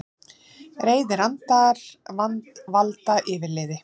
Reiðir andar valda yfirliði